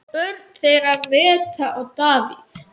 Börn þeirra Metta og Davíð.